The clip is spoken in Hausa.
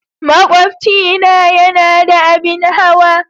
Makwabcina yana da abin hawa.